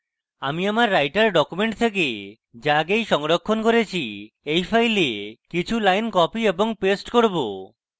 আমি আমার writer document থেকে যা আগেই সংরক্ষণ করেছি এই file কিছু lines copy paste করব